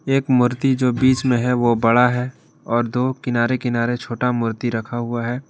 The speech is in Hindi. एक मूर्ति जो बीच में है वो बड़ा है और दो किनारे किनारे छोटा मूर्ति रखा हुआ है।